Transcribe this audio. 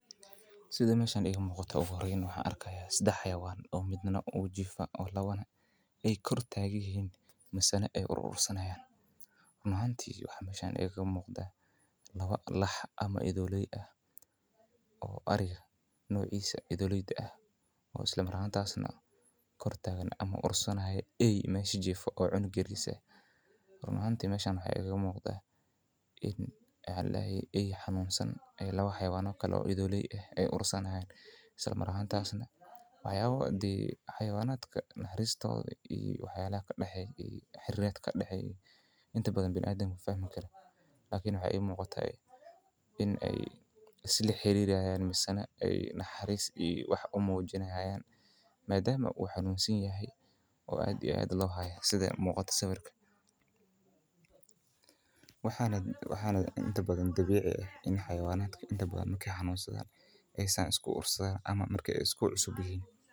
Sida ii muqato meeshan waxaan arkaay sedex xawayaan oo mid kale kor taagan oo ur sanaaya waxaa ii muuqadaa laba idaley ah aay ursani haaya waxaa ii muuqataa eey xanunsan oo jiifo inaay ursani haayan xariir ayaa kadaxeeya ama biniadamka mafahmi karaan waxaa dabiici ah in xawayanaha aay is ursadaan marki aay xanunsan yihiin.